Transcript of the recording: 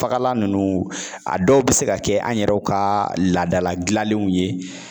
Fagalan ninnu ,a dɔw bɛ se ka kɛ an yɛrɛw ka laadala dilanenw ye.